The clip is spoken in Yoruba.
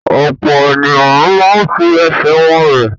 Ọ̀pọ̀ ènìyàn máa ń fi ẹsẹ̀ wọn rìn.